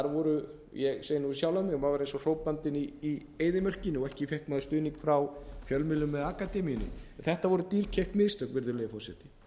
voru ég segi nú um sjálfan mig maður var eins og hrópandinn í eyðimörkinni og ekki fékk maður stuðning frá fjölmiðlum eða akademíunni þetta voru dýrkeypt mistök virðulegi forseti